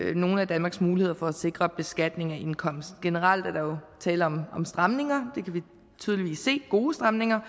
nogle af danmarks muligheder for at sikre beskatning af indkomst generelt er der jo tale om stramninger gode stramninger